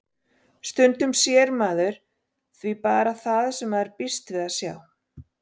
Stundum sér maður því bara það sem maður býst við að sjá.